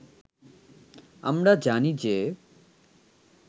আমরা জানি যে